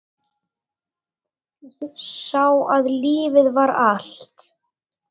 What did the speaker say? Sá að lífið var allt.